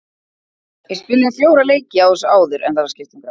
Við spiluðum fjóra leiki á þessu áður en það var skipt um gras.